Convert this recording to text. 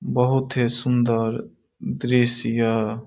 बहुत ही सुन्दर दृश्य यह --